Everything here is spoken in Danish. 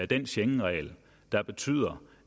den schengenregel der betyder